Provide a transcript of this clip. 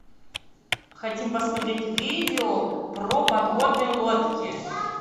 хотим посмотреть видео про подводные лодки